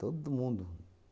Todo mundo.